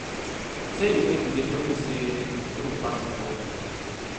Sey you fail today no mean sey you no go pass tomorrow.